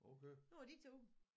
Nu er det din tur